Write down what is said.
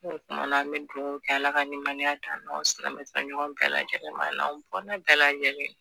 O kumana an me duwawu kɛ ala ka nimaniya d'an n'an ɲɔgɔn silamɛ fɛ ɲɔgɔn bɛɛ lajɛlen ma a n'an dɔnan bɛɛ lajɛlen